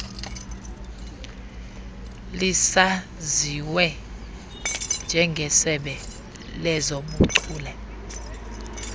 lisaziwe njengesebe lezobuchule